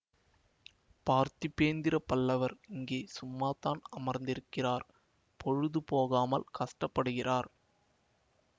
பார்த்திபேந்திர பல்லவர் இங்கே சும்மாத்தான் அமர்ந்து இருக்கிறார் பொழுது போகாமல் கஷ்டப்படுகிறார்